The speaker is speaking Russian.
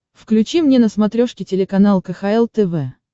включи мне на смотрешке телеканал кхл тв